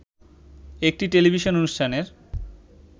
একটি টেলিভিশন অনুষ্ঠানের